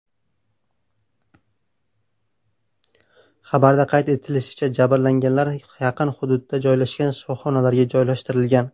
Xabarda qayd etilishicha, jabrlanganlar yaqin hududda joylashgan shifoxonalarga joylashtirilgan.